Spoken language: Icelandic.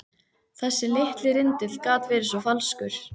Þessi litli rindill gat verið svo falskur.